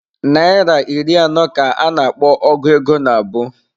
Naịra iri anọ ka a na-akpọ ọgu ego nabụ.